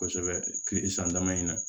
Kosɛbɛ kile san dama in na